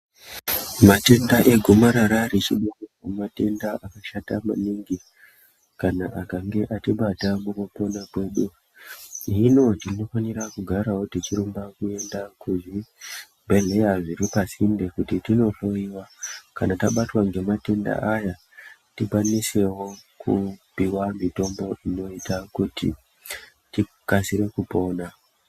Matenda egomarara rechibereko matenda akashata maningi kana akange atibata mukupona kwedu. Hino tinofanira kugara tichirumba kuenda kuzvibhedhlera zviri pasinde kuti tindohloyiwa kana tabatwa ngematenda akaita seaya tikwanisewo kupuwe mitombo tikasire kupona.